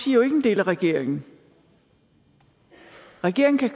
jo ikke en del af regeringen regeringen kan